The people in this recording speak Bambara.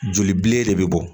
Joli bile de bɛ bɔ